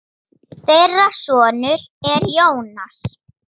Þeirra sonur er Jónas.